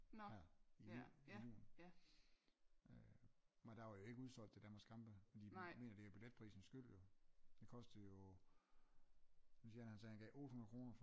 Her i julen øh og der var jo ikke udsolgt til Danmarks kampe og de mener det billetprisen skyld jo den kostede jo jeg synes Jan han sagde han gav 800 kroner